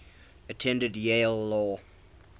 attended yale law